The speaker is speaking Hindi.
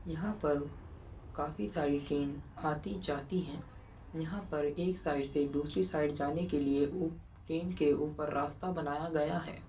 यहाँ पर काफी साडी ट्रेन आती जाती हैं। यहाँ पर एक साइड से दूसरी साइड जान के लिए उ ट्रेन के ऊपर रास्ता बनाया गया है।